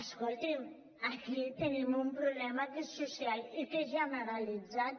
escolti’m aquí tenim un problema que és social i que és generalitzat